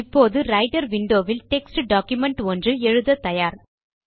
இப்போது writer window வில் text document ஒன்று எழுத தயார்